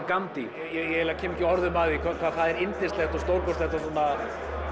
Gandhi ég eiginlega kem ekki orðum að því hvað það er yndislegt og stórkostlegt og svona